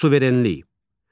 Suverenlik.